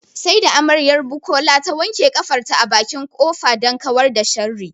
Sai da amaryar Bukola ta wanke ƙafarta a bakin ƙofa don kawar da sharri